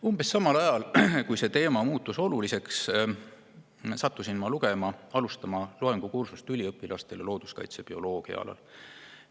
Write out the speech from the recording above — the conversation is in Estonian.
Umbes samal ajal, kui see teema oluliseks muutus, sattusin ma alustama loengukursust üliõpilastele looduskaitsebioloogia teemal.